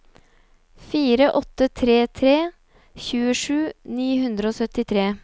fire åtte tre tre tjuesju ni hundre og syttitre